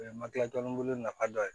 O ye makilantan bolo nafa dɔ ye